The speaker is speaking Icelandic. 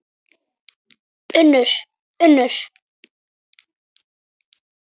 UNNUR: Unnur.